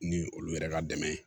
Ni olu yɛrɛ ka dɛmɛ ye